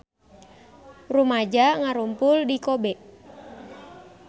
Rumaja ngarumpul di Kobe